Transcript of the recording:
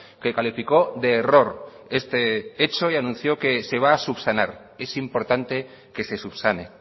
que calificó de error este hecho y anunció que se va a subsanar es importante que se subsane